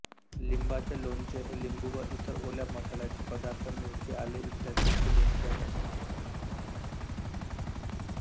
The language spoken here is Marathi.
लिंबाचे लोणचे हे लिंबू व इतर ओल्या मसाल्याचे पदार्थ मिरची आले इ यांचे लोणचे आहे